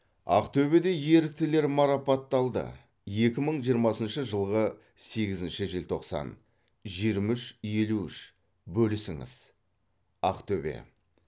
ақтөбеде еріктілер марапаттады екі мың жиырмасыншы жылғы сегізінші желтоқсан жиырма үш елу үш бөлісіңіз ақтөбе